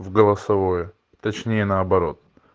а голосовое точнее наоборот